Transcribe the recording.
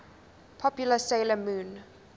popular 'sailor moon